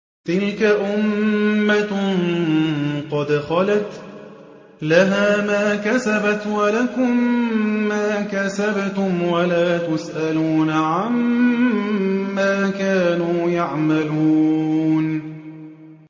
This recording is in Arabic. تِلْكَ أُمَّةٌ قَدْ خَلَتْ ۖ لَهَا مَا كَسَبَتْ وَلَكُم مَّا كَسَبْتُمْ ۖ وَلَا تُسْأَلُونَ عَمَّا كَانُوا يَعْمَلُونَ